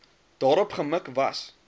daarop gemik was